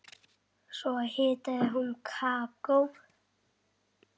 Svo hitaði hún kakó.